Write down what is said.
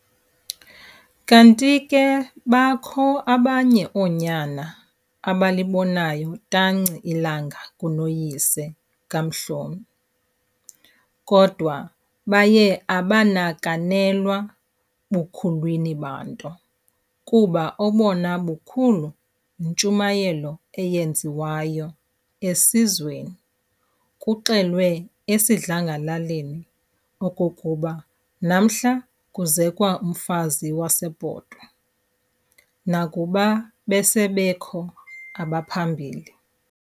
Kanti ke bakho abanye oonyana abalibonayo tanci ilanga kunoyise kaMhlomi, kodwa baye abanakanelwa bukhulwini banto, kuba obona bukhulu yintshumayelo eyenziwayo esizweni, kuxelwe esidlangalaleni okokuba namhla kuzekwa umfazi waseBhotwe, nakuba base bekho abaphambili.